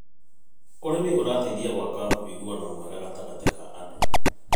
ũrĩmi ũrateithia gwakaũiguano mwega gatagatĩ ka andũ.